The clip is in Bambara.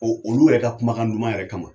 Ɔ olu yɛrɛ ka kumakan duman yɛrɛ kama